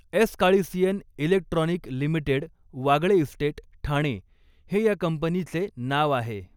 एसकाळीसीएन electronic limited Wagle estate, Thane हे या कंपनीचे नाव आहे.